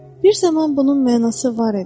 Bir zaman bunun mənası var idi.